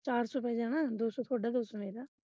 ਚਾਰ ਸੌ ਪੈ ਜਾਣਾ ਦੋ ਸੌ ਤੁਹਾਡਾ ਦੋ ਸੌ ਮੇਰਾ।